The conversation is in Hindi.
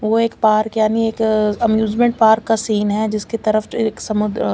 वो एक पार्क यानि एक एम्यूजमेंट पार्क का सिन है जिस के तरफ एक संदुर अः--